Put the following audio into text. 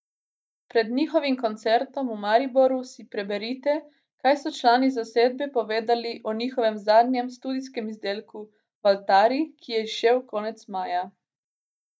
Pred njihovim koncertom v Mariboru si preberite, kaj so člani zasedbe povedali o njihovem zadnjem studijskem izdelku Valtari, ki je izšel konec maja.